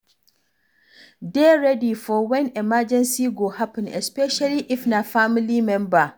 Dey ready for when emergency go happen especially if na family member